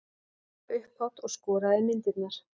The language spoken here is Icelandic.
Dóra upphátt og skoðaði myndirnar.